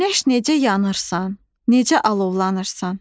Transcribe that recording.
Günəş necə yanırsan, necə alovlanırsan.